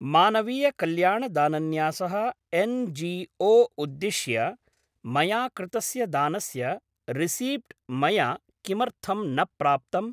मानवीय कल्याण दानन्यासः एन्.जी.ओ. उद्दिश्य मया कृतस्य दानस्य रिसीप्ट् मया किमर्थं न प्राप्तम्?